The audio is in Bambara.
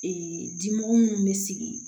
Ee dimɔgɔ minnu bɛ sigi